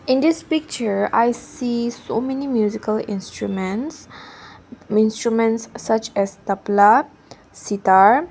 in this picture I see so many musical instruments instrument such as tabla sitar.